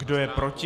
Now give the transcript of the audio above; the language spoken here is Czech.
Kdo je proti?